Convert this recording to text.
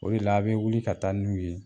O de la a' bɛ wuli ka taa n'u ye